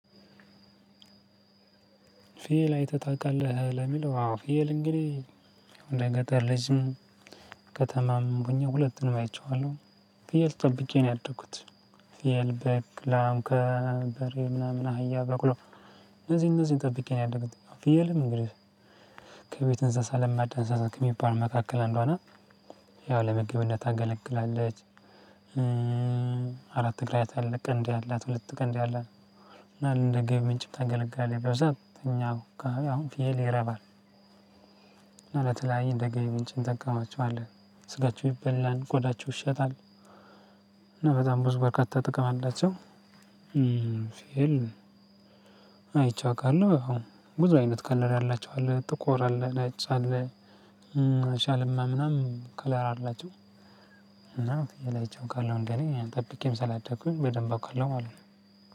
ፍየል አይተህ ታውቃለህ? ለሚለው፤ አዎ ፍየል እንግዲህ ወደ ገጠር ልጅም ከተማም ሁለቱንም አይቼዋለሁ። ፍየል ጠብቄ ነው ያደኩት። ፍየል፣ በግ፣ ላም፣ በሬ ምናምን አህያ፣ በቅሎ እነዚህ እነዚህን ጠብቄ ነው ያደኩት። ፊየል እንግዲህ ከቤት እንስሳ ለማዳ እንስሳ ከሚባል መካከል አንዷ ናት፤ ያው ለምግብነት ታገለግላለች አራት እግር ያላት፤ ቀንዴ ያላት፤ ሁለት ቀንዴ ያላት እና እንደ ገቢ ምንጭ ታገለግላለች በዛ ላይም እኛ አካባቢ አሁን ፍየል ይረባል። አመት ላይ እንደ ገቢ ምንጭ እንጠቀማቸዋለህ፤ ስጋቸው ይበላል፤ ጎዳቸው ይሸጣል። እና በጣም ብዙ በርካታ ጥቅም አላቸው። ፊየል አይቼው አውቃለሁ ያው ብዙ አይነት ከለር ያላቸው አለ፤ ጥቁር አለ፣ ነጭ አለ፣ ሻልማ ምናምን ከለር አላቸው እና ፍየል አይቸ አውቃለው እንደኔ ጠብቄም ስላደኩኝ በደንብ አውቃለው ማለት ነው።